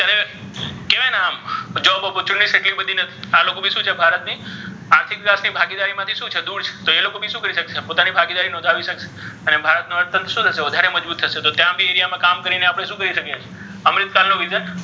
કેવાય ને આમ job opportunity એટલી બધી નથી આ લોકો ભી શુ છે ભારત ની આર્થિક સામાજીક ભાગિદારી માથી શુ છે દૂર છે તો એ લોકો ભી શુ કરિ શક્શે પોતાની ભાગિદારી નોન્ધાવી શક્શે અને ભારત અર્થ્તન્ત્ર શુ થશે વધરે મજબુત થશે તો ત્યા ભી area મા કામ કરિને આપણે શુ કરી શકી એ ?